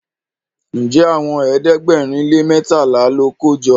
Njé Àwọn ẹ̀ẹ́dẹ̀gbẹ̀rin lè mẹtala ló joko?